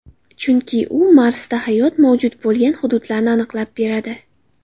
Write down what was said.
Chunki u Marsda hayot mavjud bo‘lgan hududlarni aniqlab beradi.